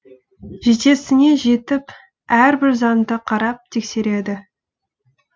жетесіне жетіп әрбір заңды қарап тексереді